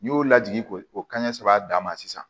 N'i y'o lajigin k'o kanɲɛ saba d'a ma sisan